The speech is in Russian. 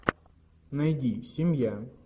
найди семья